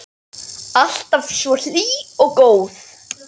Alltaf svo hlý og góð.